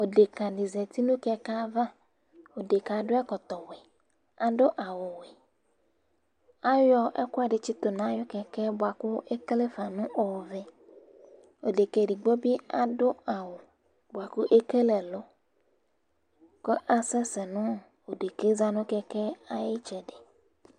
Adekǝ dɩ zati nʋ kɛkɛ avaDekǝ yɛ adʋ ɛkɔtɔ wɛ, adʋ awʋ wɛ; ayɔ ɛkʋɛdɩ tsɩtʋ nʋ aƴʋ kɛkɛ bʋa kʋ ekele ka nʋ ɔvɛAdekǝ edigbo bɩ adʋ awʋ ,bʋa kʋ ekele ɛlʋ kʋ asɛsɛ nʋ dekǝ za nʋ kɛkɛ ay' ɩtsɛdɩ